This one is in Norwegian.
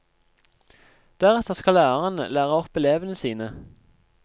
Deretter skal lærerne lære opp elevene sine.